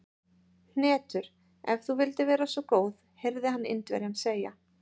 Hnetur, ef þú vildir vera svo góð heyrði hann Indverjann segja.